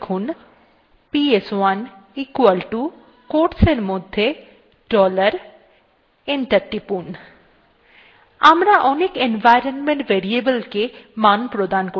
আবার পূর্বাবস্থায় আবার ফিরে আসার জন্য লিখুন ps1 equalto quotes এর মধ্যে dollar এবং enter টিপুন